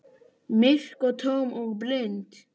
Myrk og tóm og blind.